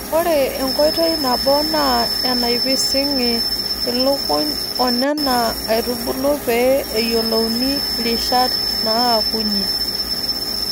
Ore enkoitoi nabo naa enapising'i ilukuny oo nena aiitubulu pee eyiolouni rishat naakunyie.